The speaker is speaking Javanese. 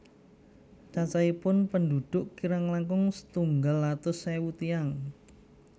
Cacahipun pendhudhuk kirang langkung setunggal atus ewu tiyang